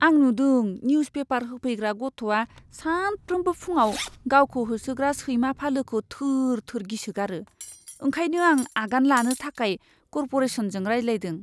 आं नुदों newspaper होफैग्रा गथ'आ सानफ्रामबो फुंआव गावखौ होसोग्रा सैमा फालोखौ थोर थोर गिसोगारो। ओंखायनो आं आगान लानो थाखाय कर्प'रेसनजों रायज्लायदों।